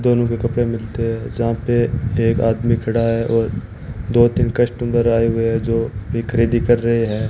दोनों के कपड़े मिलते हैं जहां पे एक आदमी खड़ा है और दो तीन कस्टमर आए हुए हैं जो अभी खरीदी कर रहे हैं।